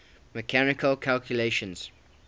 mechanical calculators